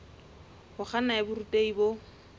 ho kganna ya borutehi bo